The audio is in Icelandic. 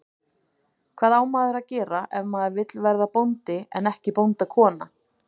Hvað á maður að gera ef maður vill verða bóndi en ekki bóndakona?